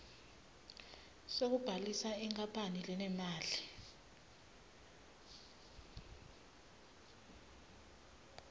sekubhalisa inkapani lenemali